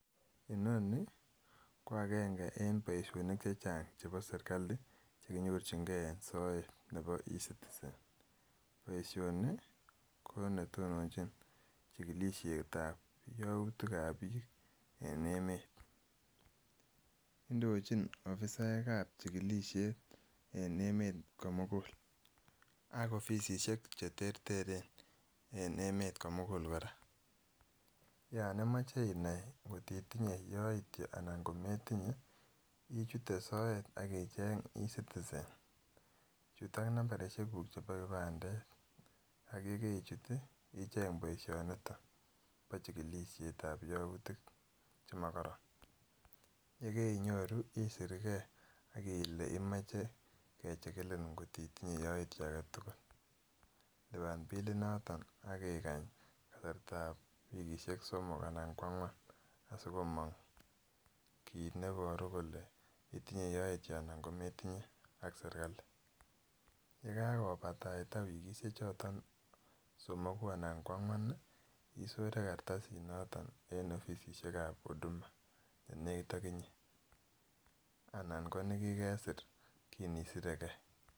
Inoni ko akeng'e en boishonik chechang chebo serikali chenyorching'e en soet nebo ecitizen, boishoni ko netononchin chikilishetab youtikab biik en emet, ndochin ofisaekab chikilishet en emet komukul ak ofisishek cheterteren en emet komukul kora, yoon imoche inai ng'ot itinye yoityo anan kometinye ichute soet ak icheng ecitizen, chuut ak nambarishekuk chebo kipandet ak yekeichut icheng boishoniton bo chikilishetab youtik chemokoron, yekeinyoru isirkee ak ilee imoche kechikilin ng'ot itinye yoityo aketukul, liban bilinoton ak ikany kasartab wikishek somok anan ko ang'wan asikimong kiit neboru kole itinye yoityo anan kometinye ak serikali, yekakobataita wikishe choton somoku anan ko ang'wan isore kartasishe choton en ofisishekab huduma nenekit okinye anan ko nekikesir kiin isirekee.